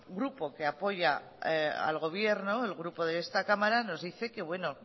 grupo que apoya al gobierno el grupo de esta cámara nos dice que